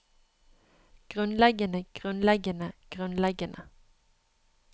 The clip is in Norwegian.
grunnleggende grunnleggende grunnleggende